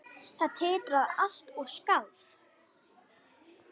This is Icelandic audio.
Það titraði allt og skalf.